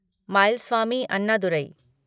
Mylswamy Annadurai